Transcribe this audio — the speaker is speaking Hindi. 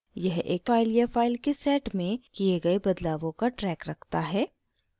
यह एक file या file के set में किये गए बदलावों का track रखता है